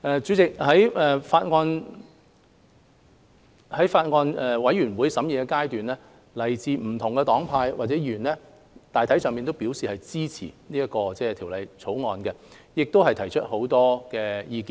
主席，在法案委員會審議階段，來自不同黨派的委員大體上支持《條例草案》，亦提出許多寶貴的意見。